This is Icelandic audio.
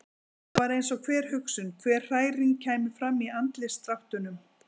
Það var eins og hver hugsun, hver hræring kæmi fram í andlitsdráttunum.